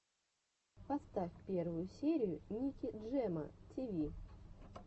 поставь первую серию ники джема ти ви